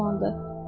Yaxşı oğlandır.